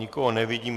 Nikoho nevidím.